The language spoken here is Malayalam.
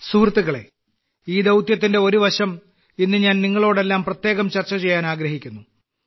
സുഹൃത്തുക്കളേ ഈ ദൌത്യത്തിന്റെ ഒരുവശം ഞാൻ ഇന്ന് നിങ്ങളോടെല്ലാം പ്രത്യേകം ചർച്ച ചെയ്യാൻ ആഗ്രഹിക്കുന്നു